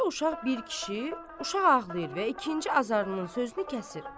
Qucağında uşaq bir kişi, uşaq ağlayır və ikinci azarının sözünü kəsir.